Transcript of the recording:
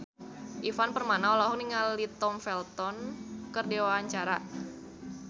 Ivan Permana olohok ningali Tom Felton keur diwawancara